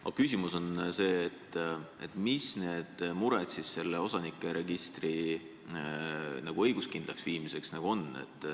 Aga küsimus on see, mis need mured selle osanike registri õiguskindlaks muutmisel on.